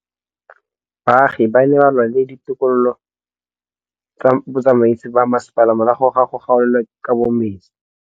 Baagi ba ne ba lwa le ditokolo tsa botsamaisi ba mmasepala morago ga go gaolelwa kabo metsi